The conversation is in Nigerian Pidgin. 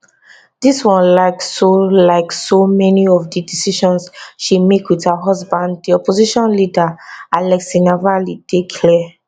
this one like so like so many of di decisions she make wit her husband di opposition leader alexei navalny dey clear